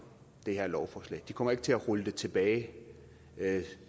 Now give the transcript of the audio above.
det her lovforslag de kommer ikke til at rulle det tilbage